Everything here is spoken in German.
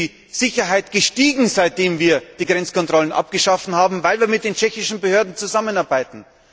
Dort ist die Sicherheit gestiegen, seitdem wir die Grenzkontrollen abgeschafft haben, weil wir mit den tschechischen Behörden zusammenarbeiten.